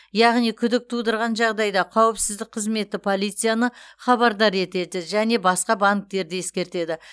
яғни күдік тудырған жағдайда қауіпсіздік қызметі полицияны хабардар етеді және басқа банктерді ескертеді